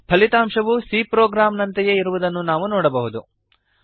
ಫಲಿತಾಂಶವು C program ನಂತೆಯೇ ಇರುವುದನ್ನು ನಾವು ನೋಡಬಹುದು